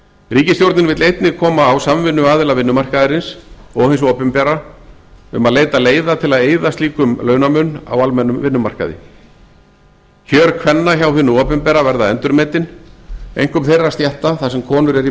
ríkisstjórnin vill einnig koma á samvinnu aðila vinnumarkaðarins og hins opinbera um að leita leiða til að eyða slíkum launamun á almennum vinnumarkmiði kjör kvenna hjá hinu opinbera verða endurmetin einkum þeirra stétta þar sem konur eru í